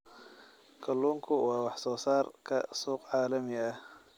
Kalluunku waa wax soo saarka suuq caalami ah.